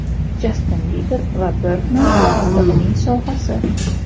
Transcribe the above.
Jastin Biber va Birdman hamda uning sovg‘asi.